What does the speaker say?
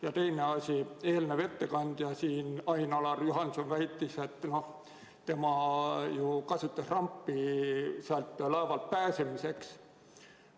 Ja teine asi: eelmine ettekandja Ain-Alar Juhanson väitis, et tema kasutas rampi laevalt pääsemiseks.